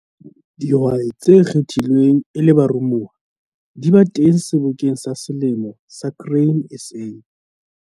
Dihwai tse kgethilweng e le baromuwa di ba teng Sebokeng sa Selemo sa Grain SA.